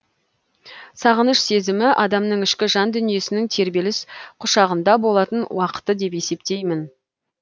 сағыныш сезімі адамның ішкі жан дүниесінің тербеліс құшағында болатын уақыты деп есептеймін